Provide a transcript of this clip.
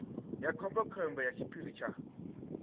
ya khombekhombe ya tshiphiri tsha